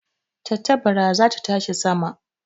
Tantabara za ta tashi sama